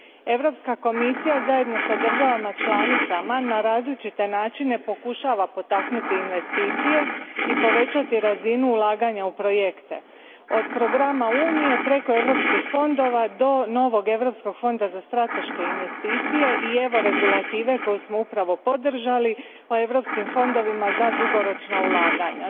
Europska komisija, zajedno s državama članicama na različite načine pokušava potaknuti investicije i povećati razinu ulaganja u projekte od programa Unije preko europskih fondova do novog Europskog fonda za strateške investicije, i regulative koju smo upravo podržali o europskim fondovima za dugoročna ulaganja.